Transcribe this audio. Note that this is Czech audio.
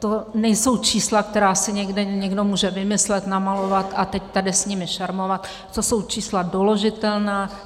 To nejsou čísla, která si někde někdo může vymyslet, namalovat a teď tady s nimi šermovat, to jsou čísla doložitelná.